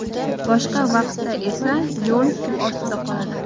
Boshqa vaqtda esa yo‘l suv ostida qoladi.